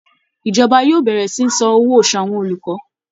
Ìjọba yóò bẹ̀rẹ̀ sí san owó oṣù àwọn olùkọ́